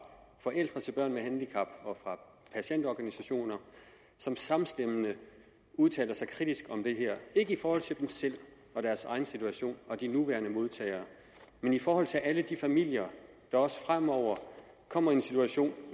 forældre til børn med handicap og fra patientorganisationer som samstemmende udtaler sig kritisk om det her ikke i forhold til dem selv og deres egen situation og de nuværende modtagere men i forhold til alle de familier der også fremover kommer i en situation